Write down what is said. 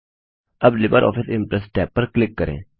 अब LibreOffice Impress tab पर click करें